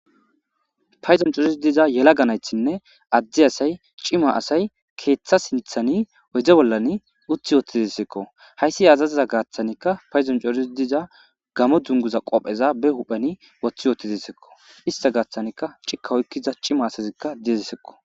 Paydon corid diza yelaga naytinne Ade asayi , cima asayi, keetha sinthani oyde bollani uti utidesko.hays asaza gathanka paydoni coridi diza gamo dunguza qopeza be huphen wothi utidesko, ista gathanka cika oykida cima asazika dizesko.